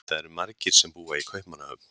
það eru margir sem búa í kaupmannahöfn